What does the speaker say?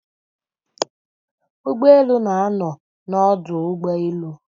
Ugboelu na-ano n'odu ugboelu